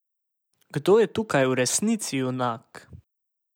Kdo je tukaj v resnici junak?